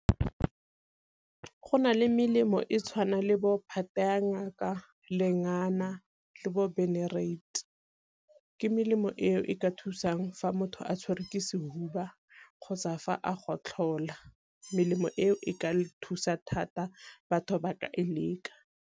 Go na le melemo e tshwana le bo phate ya ngaka, lengana, le bo benereiti. Ke melemo eo e ka thusang fa motho a tshwerwe ke sehuba kgotsa fa a gotlhola melemo eo e ka thusa thata, batho ba ka e leka.